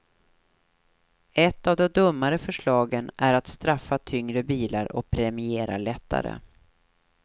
Ett av de dummare förslagen är att straffa tyngre bilar och premiera lättare.